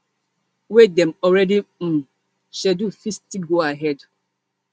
wey dem already um schedule fit still go ahead